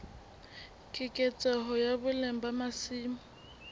keketseho ya boleng ba masimo